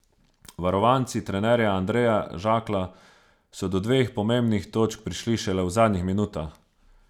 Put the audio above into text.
Varovanci trenerja Andreja Žaklja so do dveh pomembnih točk prišli šele v zadnjih minutah.